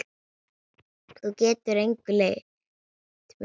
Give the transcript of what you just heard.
Þú getur engu leynt mig.